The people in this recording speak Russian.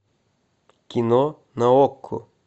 кино на окко